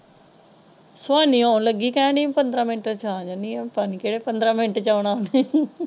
ਸੋਹਣੀ ਆਉਣ ਲੱਗੀ ਕਹਿਣ ਡਾਇ ਪੰਦਰਾਂ ਮਿੰਟ ਵਿੱਚ ਆ ਜਾਣੀ ਹਾਂ ਪਤਾ ਨਹੀਂ ਕਿਹੜੇ ਪੰਦਰਾਂ ਮਿੰਟ ਵਿੱਚ ਆਉਣ ਉਹਨੇ।